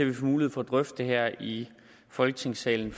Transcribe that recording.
vi får mulighed for at drøfte det her i folketingssalen